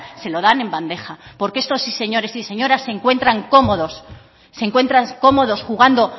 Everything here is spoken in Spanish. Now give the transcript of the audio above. se lo van en bandeja porque estos señores y señoras se encuentran cómodos jugando